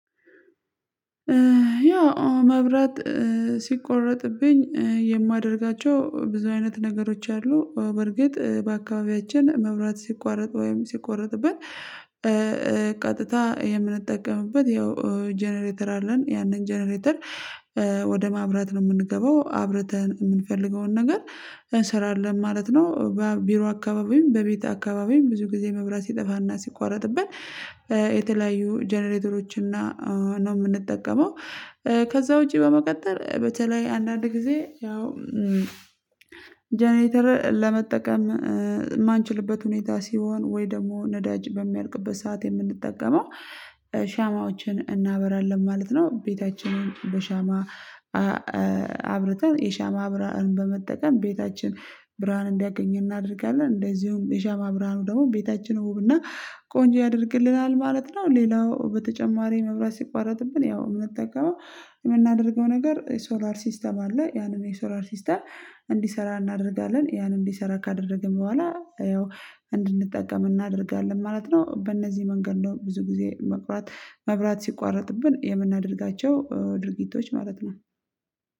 ያው መብራት ሲቆረጥብኝ የማደርጋቸው ብዙ አይነት ነገሮች አሉ። በርግጥ በአካባቢያችን መብራት ሲቋረጥ ወይም ሲቆረጥብን ቀጥታ የምንጠቀምበት ያው ጀነሬተር አለን ያንን ጀነሬተር ወደ ማብራት ነው የምንገባው አብርተን የምንፈልገውን ነገር እንሰራለን ማለት ነው። ቢሮ አካባቢውም በቤት አካባቢም ብዙ ጊዜ መብራት ሲጠፋና ሲቋረጥብን የተለያዩ ጀነሬተሮችን ነው የምንጠቀመው። ከዛ ውጪ በመቀጠር በተለይ አንዳንድ ጊዜ ያው ጀነሬተር ለመጠቀም የማንችልበት ሁኔታ ሲሆን ወይ ደግሞ ነዳጅ በሚያልቅበት ሰዓት የምንጠቀመው ሻማዎችን እናበራለን ማለት ነው። ቤታችንን በሻማ አብርተን የሻማ አብራን በመጠቀም ቤታችን ብርሃን እንዲያገኘን እናደርጋለን እንደዚሁም የሻማ አብራኑ ደግሞ ቤታችን ውብና ቆንጆ ያደርግልናል ማለት ነው። ሌላው በተጨማሪ መብራት ሲቋረጥብን ያው የምንጠቀመው የምናደርገው ነገር ሶላር ሲስተም አለ ያንም የሶላር ሲስተም እንዲሰራ እናደርጋለን ያንን እንዲሰራ ካደረግን በኋላ ያው እንድንጠቀም እናደርጋለን ማለት ነው። በእነዚህ መንገድ ነው ብዙ ጊዜ መብራት መብራት ሲቋረጥብን የምናደርጋቸው ድርጊቶች ማለት ነው